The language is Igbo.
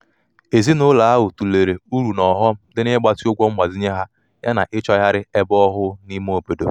ezinụlọ ahụ tụlere uru na ọghọm dị n'ịgbatị ụgwọ mgbazinye ha yana ịchọgharị ebe ọhụụ n’ime obodo